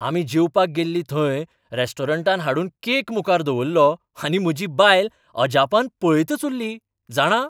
आमी जेवपाक गेल्लीं थंय रेस्टॉरंटान हाडून केक मुखार दवरलो आनी म्हजी बायल अजापान पळयतच उल्ली, जाणा?